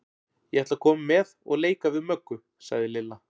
Ég ætla að koma með og leika við Möggu, sagði Lilla.